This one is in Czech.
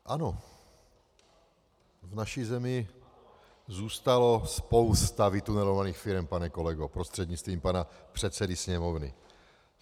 Ano, v naší zemi zůstalo spousta vytunelovaných firem, pane kolego prostřednictvím pana předsedy Sněmovny.